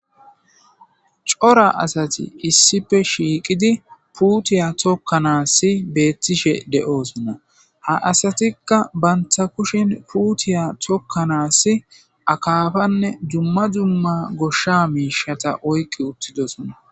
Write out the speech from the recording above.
C'ora asati issipe shiqidi putiya tokanas betishe do'osona ha asatika banta kusheni putiya tokanas akafane duma duma gosha mishata oyqidosona.